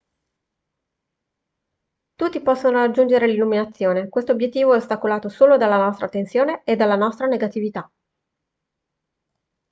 tutti possono raggiungere l'illuminazione questo obiettivo è ostacolato solo dalla nostra tensione e dalla nostra negatività